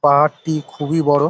পাহাড়টি খুবই বড় ।